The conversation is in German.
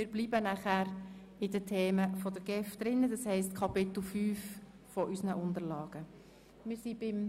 Morgen würden wir dann mit der GEF weiterfahren.